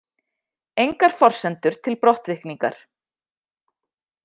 Engar forsendur til brottvikningar